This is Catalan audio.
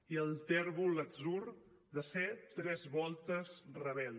i el tèrbol atzur de ser tres voltes rebel